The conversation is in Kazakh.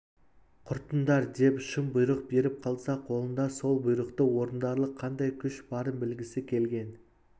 құртыңдар деп шын бұйрық беріп қалса қолында сол бұйрықты орындарлық қандай күш барын білгісі келген